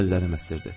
Əllərim əsirdi.